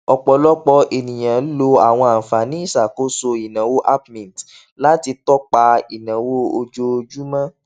ọpọlọpọ ènìyàn lo àwọn àǹfààní ìṣàkóso ináwó app mint láti tọpa ináwó ojoojúmọ wọn